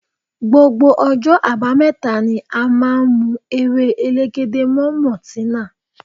Gbogbo ọjọ́ abameta ni a máa ń mu ewé elegede mọ maltina.